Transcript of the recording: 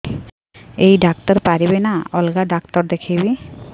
ଏଇ ଡ଼ାକ୍ତର ପାରିବେ ନା ଅଲଗା ଡ଼ାକ୍ତର ଦେଖେଇବି